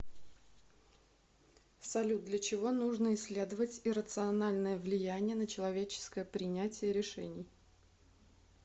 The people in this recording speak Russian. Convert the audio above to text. салют для чего нужно исследовать иррациональное влияние на человеческое принятие решений